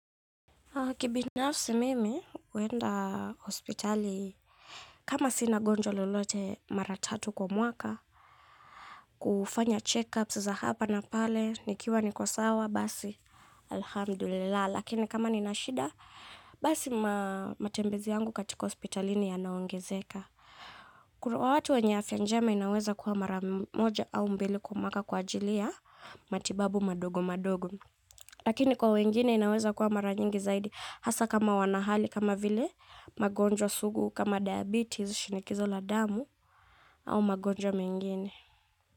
Kibinafsi mimi, huenda hospitali kama sina gonjwa lolote mara tatu kwa mwaka, kufanya checkups za hapa na pale, nikiwa niko sawa, basi Alhamdulilah. Lakini kama nina shida, basi matembezi yangu katika hospitalini yanaongezeka. Kura watu wenye afya njema inaweza kuwa mara moja au mbili kwa mwaka kwa ajili ya matibabu madogo madogo. Lakini kwa wengine inaweza kuwa mara nyingi zaidi hasa kama wana hali kama vile magonjwa sugu kama diabetes, shinikizo la damu au magonjwa mengine.